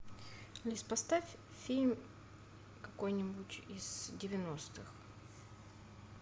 алис поставь фильм какой нибудь из девяностых